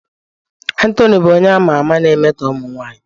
Anthony bụ onye a ma ama na-emetọ ụmụ nwanyị